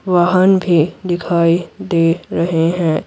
वाहन भी दिखाई दे रहे हैं।